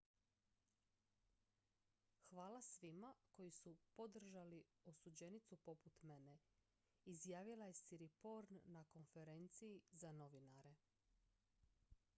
"""hvala svima koji su podržali osuđenicu poput mene" izjavila je siriporn na konferenciji za novinare.